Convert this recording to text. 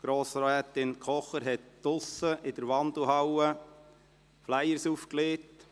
Grossrätin Kocher hat draussen in der Wandelhalle Flyer aufgelegt.